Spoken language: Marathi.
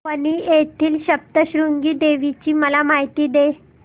वणी येथील सप्तशृंगी देवी ची मला माहिती दे